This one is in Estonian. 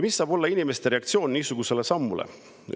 Mis saab olla inimeste reaktsioon niisugusele sammule?